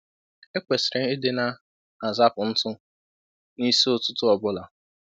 E kwesịrịlị ịdị na-azapụ ntụ na nsị ụtụtụ ọ bụla.